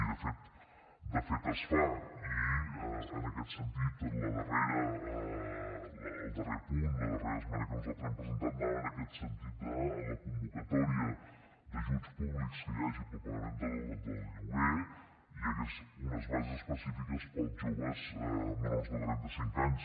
i de fet de fet es fa i en aquest sentit el darrer punt la darrera esmena que nosaltres hem presentat anava en aquest sentit que en la convocatòria d’ajuts públics que hi hagi per al pagament del lloguer hi hagués unes bases específiques per als joves menors de trenta cinc anys